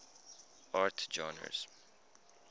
art genres